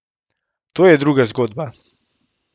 To je druga zgodba.